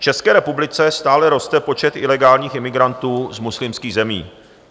V České republice stále roste počet ilegálních imigrantů z muslimských zemí.